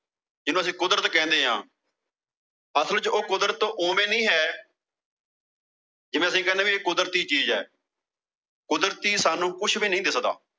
ਜੀਹਨੂੰ ਅਸੀਂ ਕੁਦਰਤ ਕਹਿਨੇ ਆਂ। ਅਸਲ ਵਿੱਚ ਉਹ ਕੁਦਰਤ ਓਵੇਂ ਨਹੀਂ ਹੈ। ਜਿਵੇਂ ਅਸੀਂ ਕਹਿਨੇ ਆਂ ਵੀ ਇਹ ਕੁਦਰਤੀ ਚੀਜ਼ ਆ ਕੁਦਰਤੀ ਸਾਨੂੰ ਕੁਸ਼ ਵੀ ਨਹੀਂ ਦਿਖਦਾ।